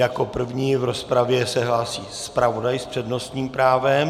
Jako první v rozpravě se hlásí zpravodaj s přednostním právem.